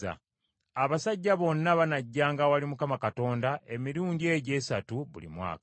“Abasajja bonna banajjanga awali Mukama Katonda emirundi egyo esatu buli mwaka.